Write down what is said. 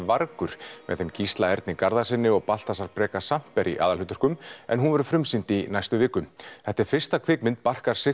vargur með þeim Gísla Erni Garðarssyni og Baltasar Breka Samper í aðalhlutverkum en hún verður frumsýnd í næstu viku þetta er fyrsta kvikmynd Barkar